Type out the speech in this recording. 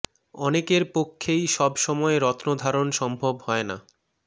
অনেকের পক্ষেই সব সময় রত্ন ধারণ সম্ভব হয় না